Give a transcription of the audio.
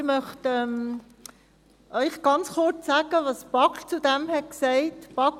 der BaK. Ich möchte Ihnen ganz kurz mitteilen, was die BaK dazu gesagt hat.